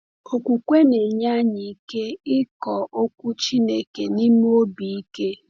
Okwukwe na-enye anyị ike ịkọ Okwu Chineke n’ime obi ike.